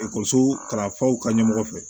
Ekɔliso kalanfaw ka ɲɛmɔgɔ fɛ